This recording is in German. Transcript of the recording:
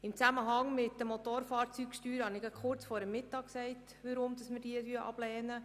Ich habe kurz vor der Mittagspause gesagt, weshalb wir den Antrag betreffend die Motorfahrzeugsteuer ablehnen.